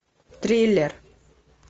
триллер